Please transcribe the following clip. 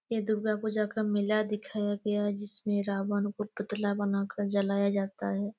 ये दुर्गा को जख्म मिला दिखाया गया हैं जिसमे रावण का पुतला बना कर जलाया जाता है।